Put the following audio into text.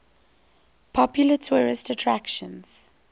popular tourist attractions